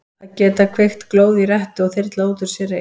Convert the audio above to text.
Að geta kveikt glóð í rettu og þyrlað út úr sér reyk.